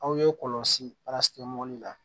Aw ye kɔlɔsi la